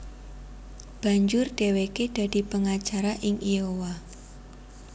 Banjur dhèwèké dadi pangacara ing Iowa